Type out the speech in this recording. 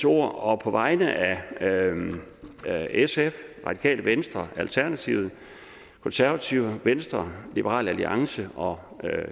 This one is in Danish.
ord og på vegne af sf radikale venstre alternativet konservative venstre liberal alliance og